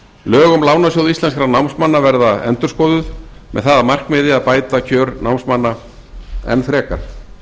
lög um lánasjóð íslenskra námsmanna verða endurskoðuð með það að markmiði að bæta kjör námsmanna enn frekar